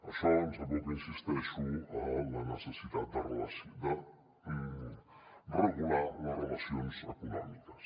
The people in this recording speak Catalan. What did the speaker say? això ens aboca hi insisteixo a la necessitat de regular les relacions econòmiques